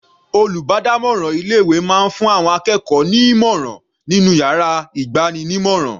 Olùbádámọ̀ràn ilé ìwé máa fún àwọn akẹ́kọ̀ọ́ ní ìmọ̀ràn nínú yàrá ìgbanímọ̀ràn.